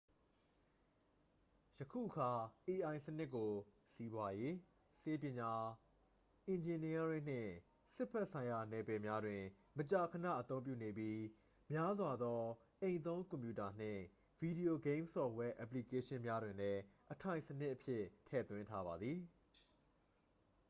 ယခုအခါ ai စနစ်ကို စီးပွားရေး ဆေးပညာ အင်ဂျင်နီယားရင်းနှင့် စစ်ဘက်ဆိုင်ရာနယ်ပယ်များတွင် မကြာခဏအသုံးပြုနေပြီး များစွာသော အိမ်သုံးကွန်ပြူတာနှင့် ဗီဒီယိုဂိမ်းဆော့ဖ်ဝဲအက်ပလီကေးရှင်းများတွင်လည်း အထိုင်စနစ်အဖြစ်ထည့်သွင်းထားပါသည်